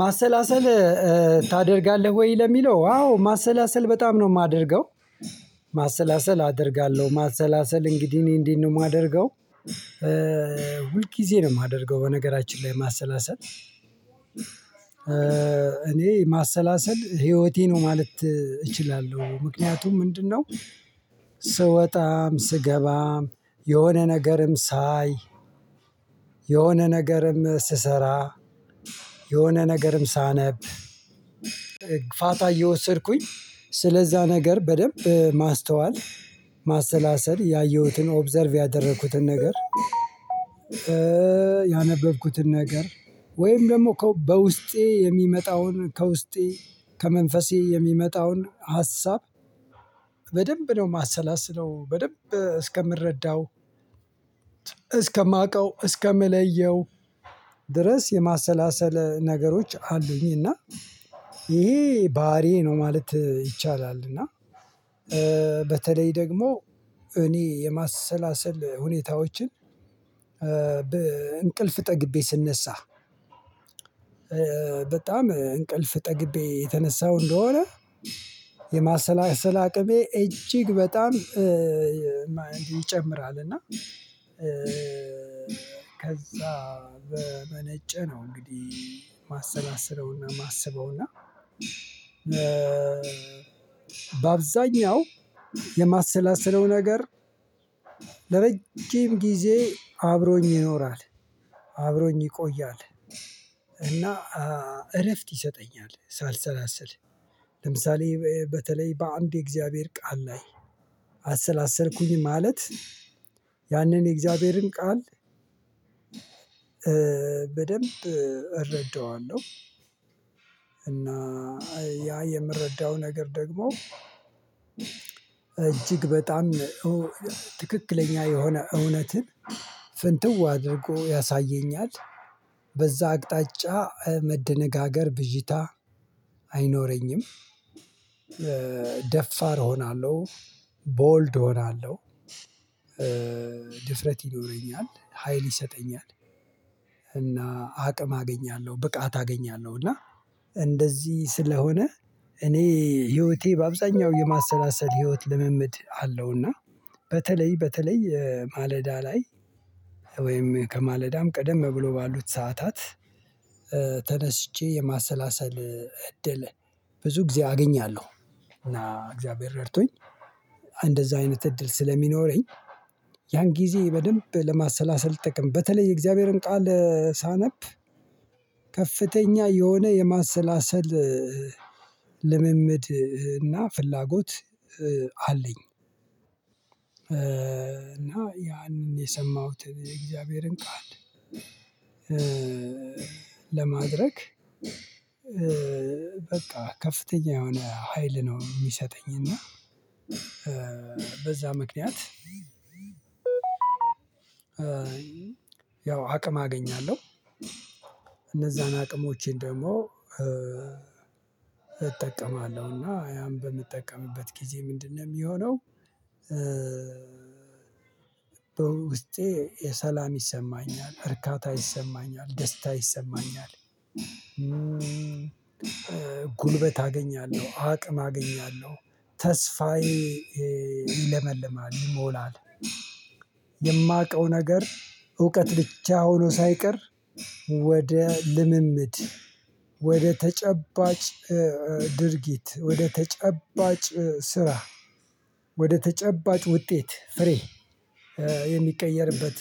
ማሰላሰል ታደርጋለህ ወይ? ለሚለው አዎ ማሰላሰል በጣም ነው የማደርገው። ማሰላሰል አደርጋለሁ ማሰላሰል እንግዲህ እኔ እንዴት ነው የማደርገው ሁልጊዜ ነው የማደርገው በነገራችን ላይ ማሰላሰል። እኔ ማሰላሰል ህይወቴ ነው ማለት እችላለሁ ምክንያቱም ምንድነው? ስወጣም ስገባም የሆነ ነገርም ሳይ የሆነ ነገርም ስሰራ የሆነ ነገርም ሳነብ ፋታ እየወሰድኩኝ ስለዛ ነገር በደንብ ማስተዋል ማሰላሰል ያየሁትን ኦብዘርቭ ያደረኩትን ነገር። ያነበብኩትን ነገር ወይም ደግሞ በውስጤ የሚመጣውን ከውስጤ ከመንፈሴ የሚመጣውን ሀሳብ። በደንብ ነው የማሰላስለው በደንብ እስከምረዳው እስከማውቀው እስከምለየው ድረስ የማሰላሰል ነገሮች አሉኝ እና ይሄ ባህሪዬ ነው ማለት ይቻላል። እና በተለይ ደግሞ እኔ የማሰላሰል ሁኔታዎችን በእንቅልፍ ጠግቤ ስነሳ በጣም እንቅልፍ ጠግቤ የተነሳው እንደሆነ የማሰላሰል አቅሜ እጅግ በጣም ይጨምራል። እና ከዛ በመነጨ ነው እንግዲህ ማሰላስለው እና ማስበው እና በአብዛኛው የማሰላሰለው ነገር ለረጅም ጊዜ አብሮኝ ይኖራል አብሮኝ ይቆያል እና እረፍት ይሰጠኛል ሳልሰላስል። ለምሳሌ በተለይ በአንድ የእግዚአብሔር ቃል ላይ አሰላሰልኩኝ ማለት ያንን የእግዚአብሔርን ቃል በደንብ እረዳዋለሁ። እና ያ የምረዳው ነገር ደግሞ እጅግ በጣም ትክክለኛ የሆነ እውነትን ፍንትው አድርጎ ያሳየኛል በዛ አቅጣጫ መደነጋገር ብዥታ አይኖረኝም። ደፋር እሆናለው ቦልድ እሆናለው ድፍረት ይኖረኛል ሀይል ይሰጠኛል። እና አቅም አገኛለሁ ብቃት አገኛለሁ እና እንደዚህ ስለሆነ እኔ ህይወቴ በአብዛኛው የማሰላሰል ህይወት ልምምድ አለው አለው። እና በተለይ በተለይ ማለዳ ላይ ወይም ከማለዳም ቀደም ብሎ ባሉት ሰዓታት ተነስቼ የማሰላሰል እድል ብዙ ጊዜ አገኛለሁ። እና እግዚአብሔር ረድቶኝ እንደዛ አይነት እድል ስለሚኖረኝ ያን ጊዜ በደንብ ለማሰላሰል ጥቅም በተለይ የእግዚአብሔርን ቃል ሳነብ ከፍተኛ የሆነ የማሰላሰል ልምምድ እና ፍላጎት አለኝ። እና ያንን የሰማሁትን የእግዚአብሔርን ቃል ለማድረግ በቃ ከፍተኛ የሆነ ሀይል ነው የሚሰጠኝ እና በዛ ምክንያት ያው አቅም አገኛለሁ። እነዛን አቅሞቼን ደግሞ እጠቀማለሁ እና ያን በምጠቀምበት ጊዜ ምንድነው የሚሆነው በውስጤ የሰላም ይሰማኛል እርካታ ይሰማኛል ደስታ ይሰማኛል። ጉልበት አገኛለሁ አቅም አገኛለሁ ተስፋዬ ይለመልማል ይሞላል የማውቀው ነገር እውቀት ብቻ ሆኖ ሳይቀር ወደ ልምምድ ወደ ተጨባጭ ድርጊት ወደ ተጨባጭ ስራ ወደ ተጨባጭ ውጤት ፍሬ የሚቀየርበት